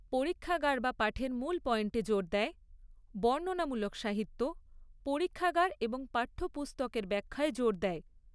পরীক্ষাগার বা পাঠের মূল পয়েন্টে জোর দেয় বর্ণনামূলক সাহিত্য পরীক্ষাগার এবং পাঠ্যপুস্তকের ব্যখ্যার জোর দেয়।